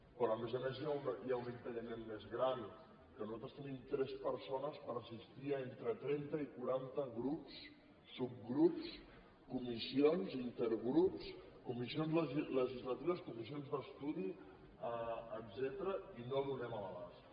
però a més a més hi ha un impediment més gran que nosaltres tenim tres persones per assistir entre trenta i quaranta grups subgrups comissions intergrups comissions legislatives comissions d’estudi etcètera i no donem l’abast